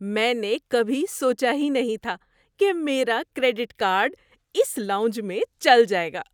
میں نے کبھی سوچا ہی نہیں تھا کہ میرا کریڈٹ کارڈ اس لاؤنج میں چل جائے گا!